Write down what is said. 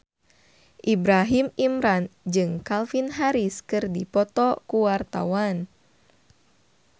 Ibrahim Imran jeung Calvin Harris keur dipoto ku wartawan